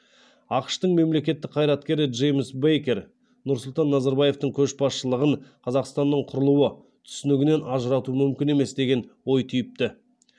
ақш тың мемлекеттік қайраткері джеймс бейкер нұрсұлтан назарбаевтың көшбасшылығын қазақстанның құрылуы түсінігінен ажырату мүмкін емес деген ой түйіпті